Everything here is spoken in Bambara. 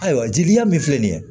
Ayiwa jeliya min filɛ nin ye